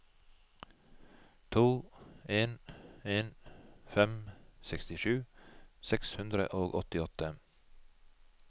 to en en fem sekstisju seks hundre og åttiåtte